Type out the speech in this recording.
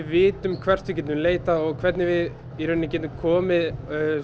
vitum hvert við getum leitað og hvernig við getum komið